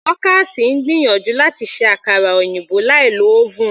Dorcas ń gbìyànjú láti ṣe àkara òyìnbó láì lo oven.